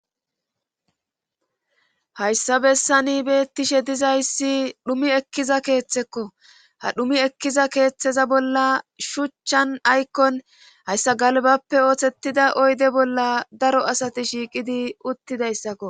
Hayssa bessani beettishe dizayssi dhumi ekkiza keeththekko ha dhumi ekkiza keeththeza bolla shuchchan aykkon hayssa galbappe oothettida oyde bolla daro asati shiiqidi uttidayssakko